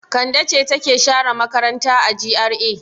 Kande ce take share makaranta a GRA.